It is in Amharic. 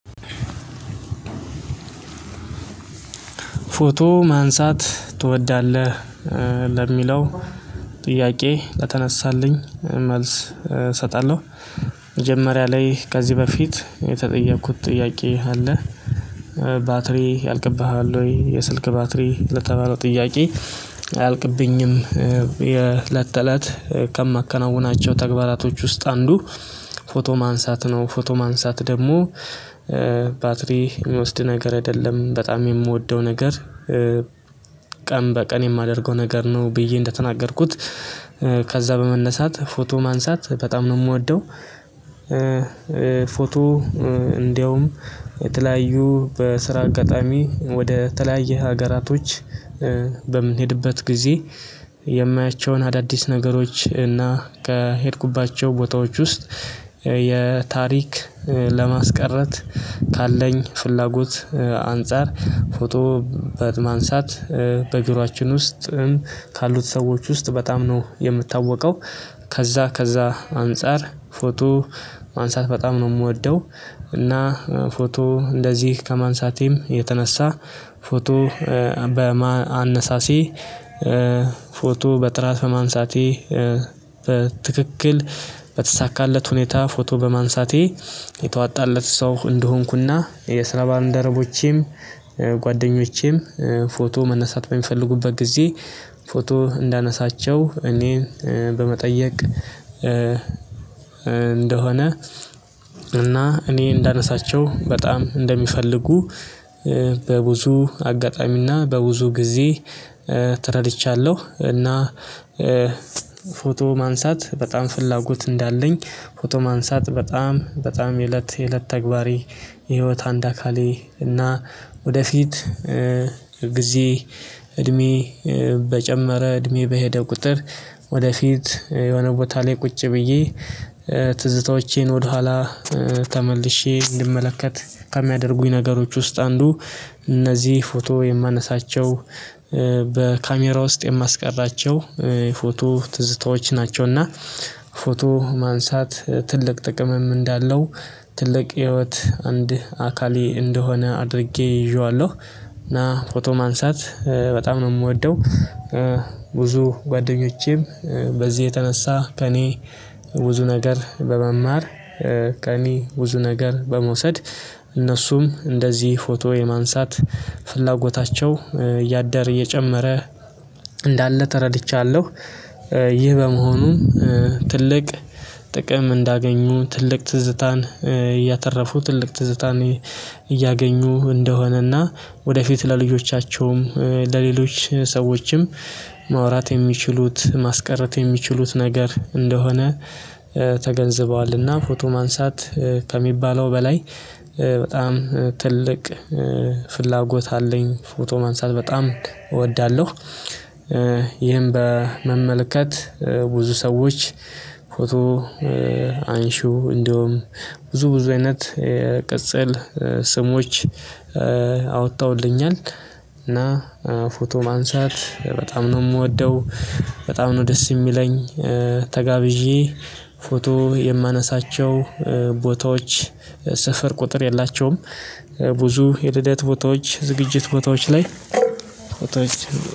ፎቶ ማንሳት ትወዳለህ? ለሚለው ጥያቄ ለተነሳልኝ መልስ እሰጣለሁ። መጀመሪያ ላይ ከዚህ በፊት የተጠየኩት ጥያቄ አለ? ባትሪ ያልቅብሃል ወይ የስልክ ባትሪ ለተባለው ጥያቄ አያልቅብኝም። የለት ተለት ከማከናውናቸው ተግባራቶች ውስጥ አንዱ ፎቶ ማንሳት ነው። ፎቶ ማንሳት ደግሞ ባትሪ የሚወስድ ነገር አይደለም በጣም የምወደው ነገር። ቀን በቀን የማደርገው ነገር ነው ብዬ እንደተናገርኩት ከዛ በመነሳት ፎቶ ማንሳት በጣም ነው የምወደው። ፎቶ እንዲያውም የተለያዩ በስራ አጋጣሚ ወደ ተለያየ ሀገራቶች። በምንሄድበት ጊዜ የማያቸውን አዳዲስ ነገሮች እና ከሄድኩባቸው ቦታዎች ውስጥ ለታሪክ ለማስቀረት ካለኝ ፍላጎት አንፃር ፎቶ በማንሳት በጆሮአችን ውስጥ ካሉት ሰዎች ውስጥ በጣም ነው የምታወቀው። ከዛ ከዛ አንፃር ፎቶ ማንሳት በጣም ነው የምወደው። እና ፎቶ እንደዚህ ከማንሳቴም የተነሳ ፎቶ በአነሳሲ ፎቶ በጥራት በማንሳቴ በትክክል በተሳካለት ሁኔታ ፎቶ በማንሳቴ የተዋጣለት ሰው እንደሆንኩና የስራ ባልንደረቦቼም ጓደኞቼም ፎቶ መነሳት በሚፈልጉበት ጊዜ ፎቶ እንዳነሳቸው እኔ በመጠየቅ እንደሆነ እኔ እንዳነሳቸው በጣም እንደሚፈልጉ በብዙ አጋጣሚና በብዙ ጊዜ ተረድቻለሁ። እና ፎቶ ማንሳት በጣም ፍላጎት እንዳለኝ ፎቶ ማንሳት በጣም በጣም የእለት የእለት ተግባሬ። የህይወት አንድ አካሌ እና ወደፊት ጊዜ እድሜ በጨመረ እድሜ በሄደ ቁጥር ወደፊት የሆነ ቦታ ላይ ቁጭ ብዬ ትዝታዎቼን ወደኋላ ተመልሼ እንድመለከት ከሚያደርጉኝ ነገሮች ውስጥ አንዱ እነዚህ ፎቶ የማነሳቸው በካሜራ ውስጥ የማስቀራቸው ፎቶ ትዝታዎች ናቸውና። ፎቶ ማንሳት ትልቅ ጥቅምም እንዳለው ትልቅ ህይወት አንድ አካሌ እንደሆነ አድርጌ ይዤዋለሁ እና ፎቶ ማንሳት በጣም ነው የምወደው። ብዙ ጓደኞቼም በዚህ የተነሳ ከእኔ ብዙ ነገር በመማር ከእኔ ብዙ ነገር በመውሰድ እነሱም እንደዚህ ፎቶ የማንሳት ፍላጎታቸው እያደር እየጨመረ እንዳለ ተረድቻለሁ። ይህ በመሆኑም ጥቅም እንዳገኙ ትልቅ ትዝታን እያተረፉ ትልቅ ትዝታን እያገኙ እንደሆነና ወደፊት ለልጆቻቸውም ለሌሎች ሰዎችም ማውራት የሚችሉት ማስቀረት የሚችሉት ነገር እንደሆነ ተገንዝበዋልና ፎቶ ማንሳት ከሚባለው በላይ በጣም ትልቅ ፍላጎት አለኝ ፎቶ ማንሳት በጣም እወዳለሁ። ይሄን በመመልከት ብዙ ሰዎች አንሺው እንዲሁም ብዙ ብዙ አይነት ቅጽል ስሞች አወጥተውልኛል እና ፎቶ ማንሳት በጣም ነው የምወደው። በጣም ነው ደስ የሚለኝ ተጋብዤ ፎቶ የማነሳቸው ሰፈር ቁጥር የላቸውም። ብዙ የልደት ቦታዎች ዝግጅት ቦታዎች ላይ ቦታዎች